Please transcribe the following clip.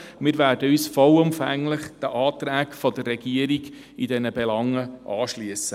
Wir werden uns vollumfänglich den Anträgen der Regierung in diesen Belangen anschliessen.